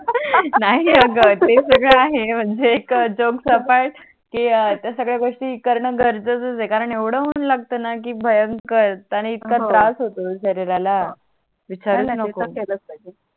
ते त्या सगड्या गोष्टी कारण गरजेच आहे कारण येवड उन लागतोणा की भयंकर आणि इथका त्रास होतो णा शरीराला विचारूनच नको नाही नाही ते तर केलच पाहिजे